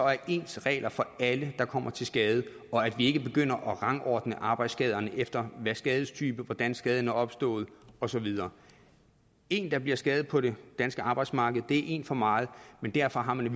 ens regler for alle der kommer til skade og at vi ikke begynder at rangordne arbejdsskaderne efter skadestype hvordan skaden er opstået og så videre en der bliver skadet på det danske arbejdsmarked er en for meget men derfor har man